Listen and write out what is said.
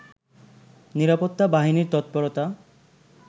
নিরাপত্তা বাহিনীর তৎপরতা